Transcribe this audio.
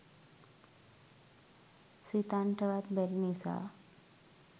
සිතන්නට වත් බැරි නිසා